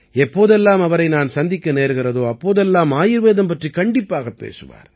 எப்போதெல்லாம் அவரை நான் சந்திக்க நேர்கிறதோ அப்போதெல்லாம் ஆயுர்வேதம் பற்றிக் கண்டிப்பாகப் பேசுவார்